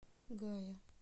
гая